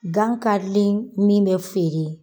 Gan karilen min bɛ feere